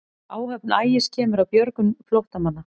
Áhöfn Ægis kemur að björgun flóttamanna